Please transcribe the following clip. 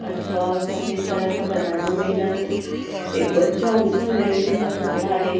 अथवा सफेद कलर का पजामा पहना है एक बच्चा ऊपर रेलिंग पर खड़ा है।